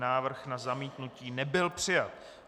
Návrh na zamítnutí nebyl přijat.